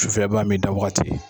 Sufɛ i b'a min, i da wagati